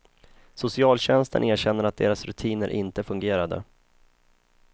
Socialtjänsten erkänner att deras rutiner inte fungerade.